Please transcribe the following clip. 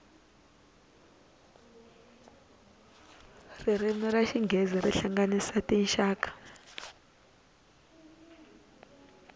ririmi ra xinghezi ri hlanganyisa tinxaka